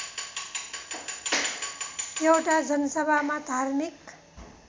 एउटा जनसभामा धार्मिक